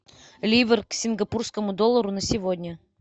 ливр к сингапурскому доллару на сегодня